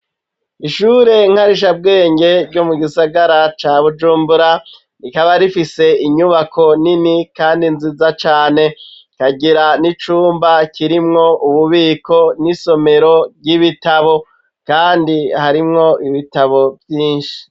Ishure nkarisha bwenge ryo mu gisagara ca Bujumbura rikaba rifise inyubako nini kandi nziza cane ikagira n'icumba kirimwo ububiko n'isomero ry'ibitabo kandi harimwo ibitabo vyishi